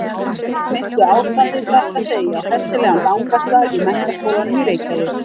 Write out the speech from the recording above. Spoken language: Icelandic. Minnti ástandið satt að segja á hressilegan gangaslag í Menntaskólanum í Reykjavík.